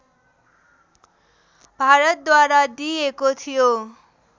भारतद्वारा दिइएको थियो